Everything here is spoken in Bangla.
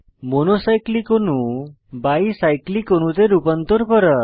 মনো সাইক্লিক অণু বাই সাইক্লিক অণুতে রূপান্তর করা